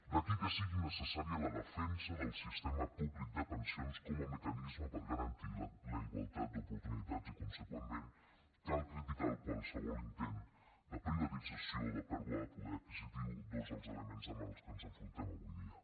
d’aquí que sigui necessària la defensa del sistema públic de pensions com a mecanisme per garantir la igualtat d’oportunitats i consegüentment cal criticar qualsevol intent de privatització de pèrdua de poder adquisitiu dos dels elements amb què ens enfrontem avui dia